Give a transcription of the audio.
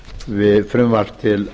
við frumvarp til